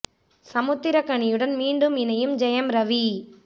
சமுத்திரகனியுடன் மீண்டும் இணையும் ஜெயம் ரவி